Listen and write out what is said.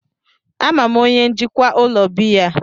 Ama m onye njikwa ụlọ biya a.